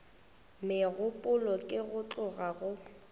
megopolo ke go tloga go